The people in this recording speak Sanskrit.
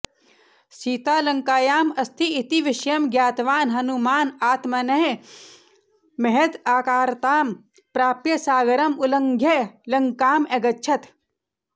सीता लङ्कायाम् अस्ति इति विषयं ज्ञातवान् हनुमान् आत्मनः महदाकारतां प्राप्य सागरम् उल्लङ्घ्य लङ्काम् अगच्छत्